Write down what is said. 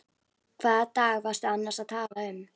Hvaða dag varstu annars að tala um?